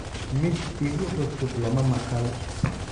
Mid igu cusub lama maqal.